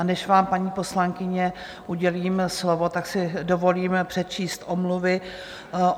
A než vám, paní poslankyně, udělím slovo, tak si dovolím přečíst omluvy.